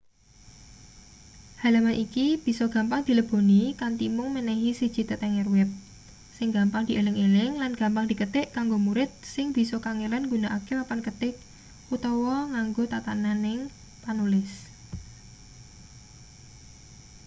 halaman iki bisa gampang dileboni kanthi mung menehi siji tetenger web sing gampang dieling-eling lan gampang diketik kanggo murid sing bisa kangelan nggunakake papan ketik utawa nganggo tatananing panulis